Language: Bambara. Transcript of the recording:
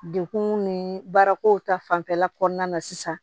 Dekun ni baarako ta fanfɛla kɔnɔna na sisan